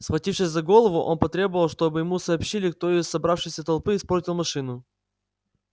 схватившись за голову он потребовал чтобы ему сообщили кто из собравшейся толпы испортил машину